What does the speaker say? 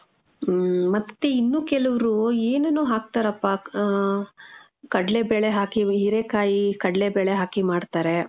ಮ್ಮ್. ಮತ್ತೆ ಇನ್ನು ಕೆಲುವ್ರು ಏನೇನೋ ಹಾಕ್ತಾರಪ್ಪ. ಆ, ಕಡ್ಲೆಬೇಳೆ ಹಾಕಿ, ಹೀರೆಕಾಯಿ ಕಡ್ಲೆಬೇಳೆ ಹಾಕಿ ಮಾಡ್ತಾರೆ.